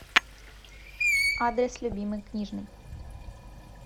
адрес любимый книжный